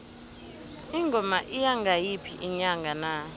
ingoma iya ngayiphi inyanga na